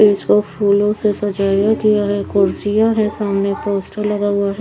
इसको फूलो से सजाया गया है कुर्सियां है सामने पोस्टर लगा हुआ है।